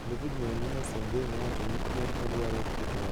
David Moinina Sengeh nowacho ni ne odwaro keto ranyisi maber ne chwo mamoko.